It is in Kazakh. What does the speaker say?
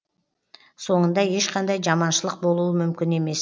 соңында ешқандай жаманшылық болуы мүмкін емес